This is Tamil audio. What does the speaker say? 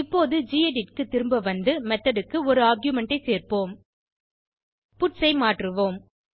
இப்போது கெடிட் க்கு திரும்ப வந்து மெத்தோட் க்கு ஒரு ஆர்குமென்ட் ஐ சேர்ப்போம் பட்ஸ் ஐ மாற்றுவோம்